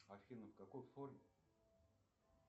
афина в какой форме